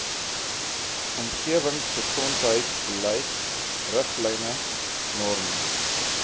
omgewingsgesondheidsbeleid riglyne norme